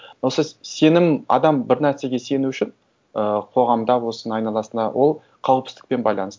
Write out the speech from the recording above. но сіз сенім адам бір нәрсеге сену үшін ы қоғамда болсын айналасында ол қауіпсіздікпен байланысты